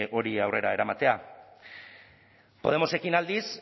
hori aurrera eramatea podemosekin aldiz